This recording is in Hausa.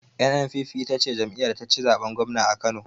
NNPP ita ce jam'iyar da taci zaɓen gwamna a kano